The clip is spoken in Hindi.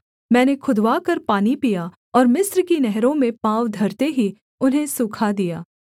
मैंने खुदवाकर पानी पिया और मिस्र की नहरों में पाँव धरते ही उन्हें सूखा दिया